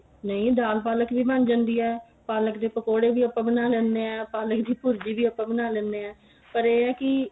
ਨਹੀਂ ਦਾਲ ਪਾਲਕ ਵੀ ਬਣ ਜਾਂਦੀ ਏ ਪਾਲਕ ਦੇ ਪਕੋੜੇ ਵੀ ਆਪਾਂ ਬਣਾ ਲੈਂਦੇ ਆ ਪਾਲਕ ਦੀ ਭੁਰਜੀ ਵੀ ਆਪਾਂ ਬਣਾ ਲੈਂਦੇ ਆ ਪਰ ਇਹ ਏ ਕੀ